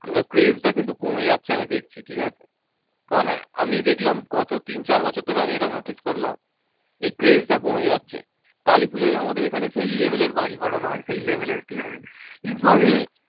craze টা কিন্তু কমে যাচ্ছে আমি দেখছি ঠিকাছে। মানে আমি দেখলাম গত তিন চার বছর ধরে আমি এটা notice করলাম এই craze টা কমে যাচ্ছে। কালীপূজায় আমাদের এখানে সেই level এর বাজি ফাটানো হয়, সেই level এর ঠিকাছে। কিন্তু আমি